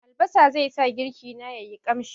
Albasa zai sa girki na ya yi ƙamshi.